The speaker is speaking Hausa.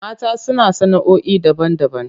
Mata suna sana'oi daban-daban.